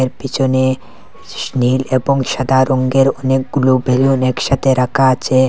পিছনে সী নীল এবং সাদা রঙ্গের অনেকগুলো বেলুন একসাথে রাখা আছে।